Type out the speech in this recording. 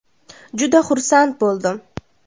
Juda xursand bo‘ldim.